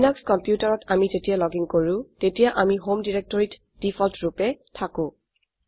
Linux কম্পিউটাৰত আমি যেতিয়া লগিন কৰো তেতিয়া আমি হোম directoryত দেফল্ট ৰুপে থাকো